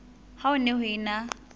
ha ho ne ho ena